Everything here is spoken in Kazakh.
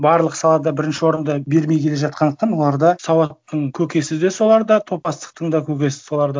барлық салада бірінші орынды бермей келе жатқандықтан оларда сауаттың көкесі де соларда топастықтың да көкесі соларда